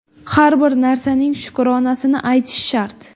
Har bir narsaning shukronasini aytish shart.